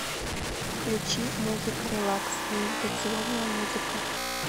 включи музыка релакс медитационная музыка